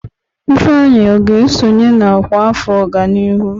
Ifeanyi ọ ga-esonye na ọkwá afọ ọganihu?